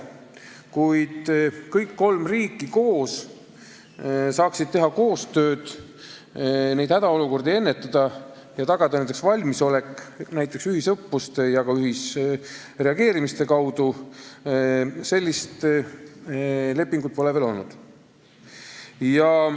Kuid sellist lepingut, mille alusel saaks kõik kolm riiki koos teha koostööd, ennetada hädaolukordi ja tagada valmisolek näiteks ühisõppuste ja ka ühisreageerimiste kaudu, pole veel olnud.